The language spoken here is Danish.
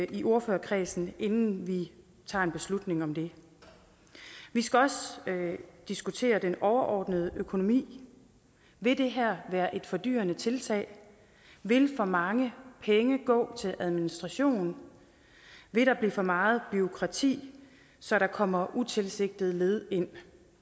i ordførerkredsen inden vi tager en beslutning vi skal også diskutere den overordnede økonomi vil det her være et fordyrende tiltale vil for mange penge gå til administration vil der blive for meget bureaukrati så der kommer utilsigtede led ind